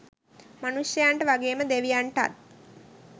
මනුෂ්‍යයන්ට වගේම දෙවියන්ටත්